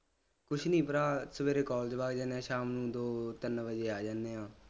ਕੁਛ ਨਹੀਂ ਭਰਾ ਸਵੇਰੇ college ਵਗ ਜਾਂਦੇ ਸ਼ਾਮ ਨੂੰ ਦੋ ਤਿੰਨ ਵਜੇ ਆ ਜਾਨੇ ਆ